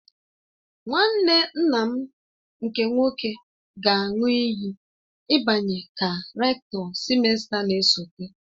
Nwanne nna m nke nwoke ga-aṅụ iyi ịbanye ka Rektọ sịmesta na-esote.